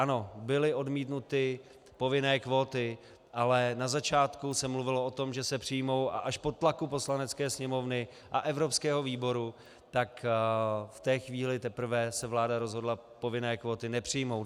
Ano, byly odmítnuty povinné kvóty, ale na začátku se mluvilo o tom, že se přijmou, a až po tlaku Poslanecké sněmovny a evropského výboru, tak v té chvíli se teprve vláda rozhodla povinné kvóty nepřijmout.